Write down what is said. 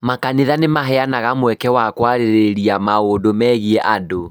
Makanitha nĩ maheanaga mweke wa kwarĩrĩria maũndũ megiĩ andũ.